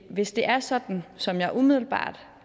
hvis det er sådan som jeg umiddelbart